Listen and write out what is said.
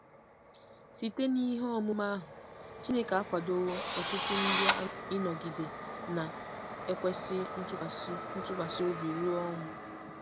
Site n'ihe ọmụma ahụ, Chineke akwadowo ọtụtụ ndị ịnọgide na-ekwesị ntụkwasị ntụkwasị obi ruo ọnwụ.